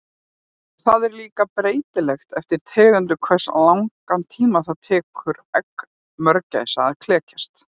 Það er líka breytilegt eftir tegundum hversu langan tíma það tekur egg mörgæsa að klekjast.